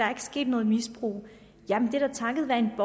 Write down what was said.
er sket noget misbrug jamen det er da takket være en